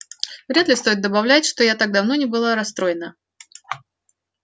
вряд ли стоит добавлять что я давно не была так расстроена